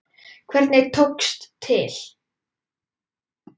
Hvernig tókst til?